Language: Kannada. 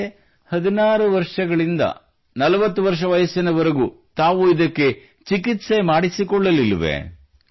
ಹಾಗಿದ್ದರೆ 16 ವರ್ಷಗಳಿಂದ 40 ವರ್ಷದ ವಯಸ್ಸಿನವರೆಗೂ ತಾವು ಇದಕ್ಕೆ ಚಿಕಿತ್ಸೆ ಮಾಡಿಸಿಕೊಳ್ಳಲಿಲ್ಲ